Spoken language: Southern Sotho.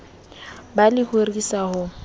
ba le ho ritsa ho